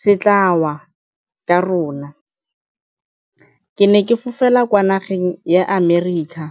se tla wa ka rona. Ke ne ke fofela kwa nageng ya America.